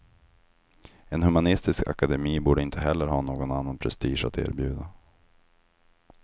En humanistisk akademi borde inte heller ha någon annan prestige att erbjuda.